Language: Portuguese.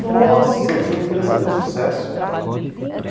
Nossa, você não queira saber o sucesso.